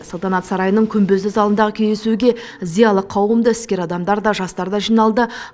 салтанат сарайының күмбезді залындағы кездесуге зиялы қауым да іскер адамдар да жастар да жиналды